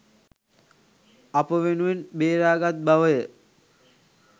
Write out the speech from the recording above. අප වෙනුවෙන් බේරාගත් බවය.